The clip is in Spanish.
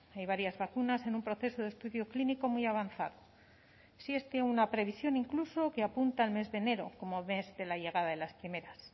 hay varias vacunas en un proceso de estudio clínico muy avanzado sí es de una previsión incluso que apunta al mes de enero como mes de la llegada de las primeras